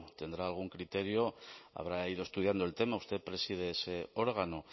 tendrá algún criterio habrá ido estudiando el tema usted preside ese órgano